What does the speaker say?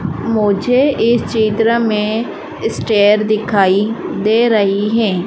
मुझे इस चित्र में स्टेयर दिखाई दे रही है।